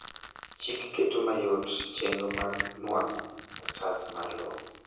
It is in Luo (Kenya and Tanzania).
chik keto mayot chenro mar nuang'o otas mar lowo